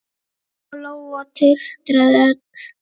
Lóa-Lóa titraði öll.